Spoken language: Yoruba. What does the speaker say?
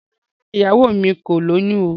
Rárá, ìyàwó mi ò lóyún o.